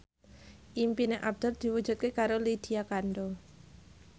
impine Abdul diwujudke karo Lydia Kandou